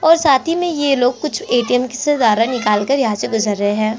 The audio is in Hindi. और साथ ही में ये लोग कुछ ए. टी. एम के से कुछ ज्यादा निकाल कर यहाँ से गुज़र रहै हैं।